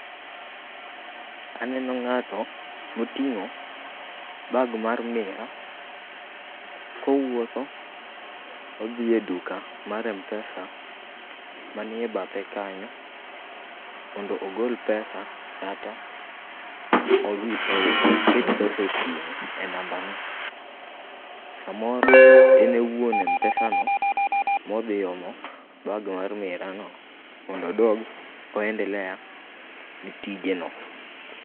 Aneno ng'ato moting'o bag mar miraa, kowuotho odhi e duka mar Mpesa manie bathe kanyo, mondo ogol pesa kata oket pesa e simu e namba ne. Samoro en e wuon Mpesa no, modhi omo bag mar miraa no, mondo odog o endelea gi tije no.